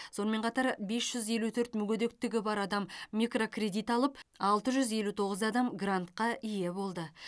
сонымен қатар бес жүз елу төрт мүгедектігі бар адам микрокредит алып алты жүз елу тоғыз адам грантқа ие болды